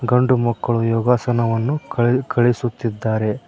ಗಂಡು ಮಕ್ಕಳು ಯೋಗಾಸನವನ್ನು ಕಳೆ ಕಲಿಸುತ್ತಿದ್ದಾರೆ.